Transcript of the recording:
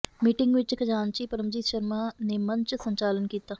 meeting ਵਿਚ ਖਜਾਨਚੀ ਪਰਮਜੀਤ ਸ਼ਰਮਾ ਨੇ ਮੰਚ ਸੰਚਾਲਨ ਕੀਤਾ